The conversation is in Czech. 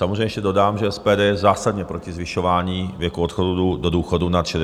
- Samozřejmě ještě dodám, že SPD je zásadně proti zvyšování věku odchodu do důchodu nad 65 let.